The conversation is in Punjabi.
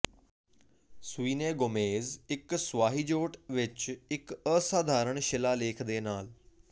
ਸਵੀਨੇ ਗੋਮੇਜ਼ ਇੱਕ ਸਵਾਹਿਜ਼ੋਟ ਵਿੱਚ ਇੱਕ ਅਸਧਾਰਨ ਸ਼ਿਲਾਲੇਖ ਦੇ ਨਾਲ